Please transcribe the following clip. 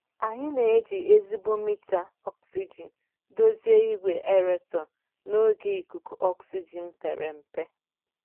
Anyị na-eji ezigbo mita ọksijin dozie igwe aerator n'oge ikuku ọksijin pere mpe.